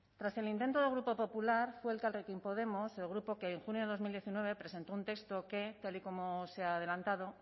tras el intento del grupo popular fue elkarrekin podemos el grupo que en junio de dos mil diecinueve presentó un texto que tal y como se ha adelantado